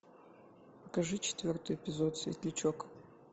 покажи четвертый эпизод светлячок